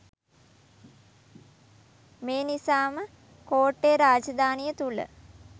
මේ නිසාම කෝට්ටේ රාජධානිය තුළ